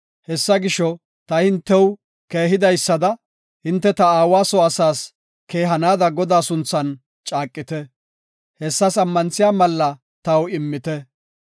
Hessa gisho, ta hintew keehidaysada hinte ta aawa soo asaas keehanaada Godaa sunthan caaqite. Hessas ammanthiya malla taw immite.